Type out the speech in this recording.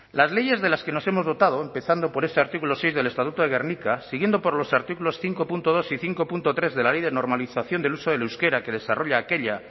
las leyes de las que nos hemos dotado empezando por este artículo seis del estatuto de gernika siguiendo por los artículos cinco punto dos y cinco punto tres de la ley de normalización del uso del euskera que desarrolla aquella